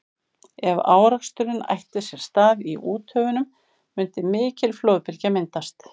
ef áreksturinn ætti sér stað í úthöfunum mundi mikil flóðbylgja myndast